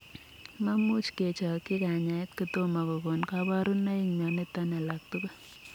Mamuuch kechokchii kanyaet kotomor kokon kabarunoik mionotok alak tugul.